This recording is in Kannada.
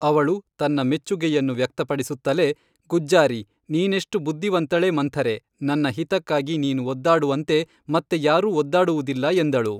ಅವಳು ತನ್ನ ಮೆಚ್ಚುಗೆಯನ್ನು ವ್ಯಕ್ತ ಪಡಿಸುತ್ತಲೆ ಗುಜ್ಜಾರಿ, ನೀನೆಷ್ಟು ಬುದ್ಧಿವಂತಳೇ ಮಂಥರೆ ನನ್ನ ಹಿತಕ್ಕಾಗಿ ನೀನು ಒದ್ದಾಡುವಂತೆ ಮತ್ತೆ ಯಾರೂ ಒದ್ದಾಡುವುದಿಲ್ಲ ಎಂದಳು